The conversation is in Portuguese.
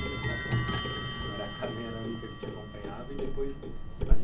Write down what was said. Você estava falando que a era a única que te acompanhava. E depois